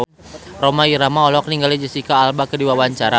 Rhoma Irama olohok ningali Jesicca Alba keur diwawancara